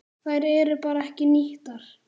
Þær eru bara ekki nýttar.